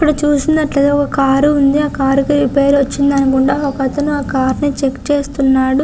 ఇక్కడ చూసినట్టయితే ఒక కార్ ఉంది ఆ కార్ కి రిపేర్ వచ్చింది అనుకుంటా ఒకతను ఆ కార్ ని చెక్ చేస్తున్నాడు.